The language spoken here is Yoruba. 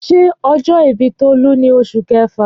Ṣé ọjọ́ ìbí Tolu ní Oṣù Kẹfà?